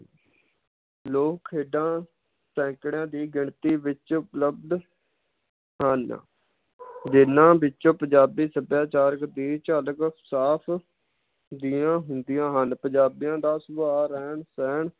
ਲੋਕ ਖੇਡਾਂ ਸੈਂਕੜਿਆਂ ਦੀ ਗਿਣਤੀ ਵਿਚ ਉਪਲਬਧ ਹਨ ਜਿਨਾਂ ਵਿਚ ਪੰਜਾਬੀ ਸਭਿਆਚਾਰਕ ਦੀ ਝਲਕ ਸਾਫ ਹੁੰਦੀਆਂ ਹਨ ਪੰਜਾਬੀਆਂ ਦਾ ਸੁਭਾਅ ਰਹਿਣ ਸਹਿਣ